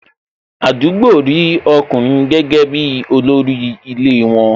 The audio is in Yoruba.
Àdúgbò rí ọkùnrin gẹ́gẹ́ bi olórí ilé won